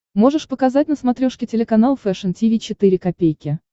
можешь показать на смотрешке телеканал фэшн ти ви четыре ка